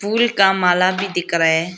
कुल का माला भी दिख रहा है।